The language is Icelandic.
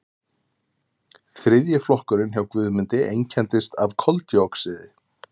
þriðji flokkurinn hjá guðmundi einkennist af koldíoxíði